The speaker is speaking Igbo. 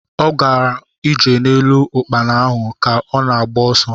Ọ gara ije n'elu ukpana ahu ka ọ na-agba ọsọ